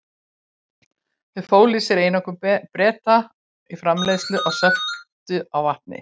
Þau fólu í sér einokun Breta í framleiðslu og sölu á salti.